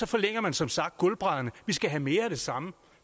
forlænger man som sagt gulvbrædderne vi skal have mere af det samme